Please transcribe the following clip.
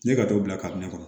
Ne ka t'o bila kabini ne kɔnɔ